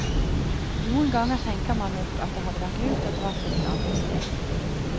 Noen ganger tenker man nok at det hadde vært lurt å dra til et annet sted.